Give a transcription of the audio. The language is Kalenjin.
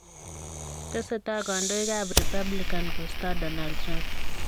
Tesetai kondoik ab Republican kostoo Donald Trump.